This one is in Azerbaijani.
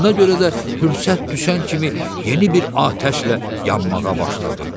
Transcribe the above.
Ona görə də fürsət düşən kimi yeni bir atəşlə yanmağa başladı.